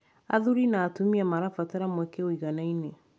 Athuri na atumia marabatara mweke ũiganaine